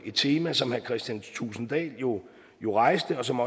et tema som herre kristian thulesen dahl jo jo rejste og som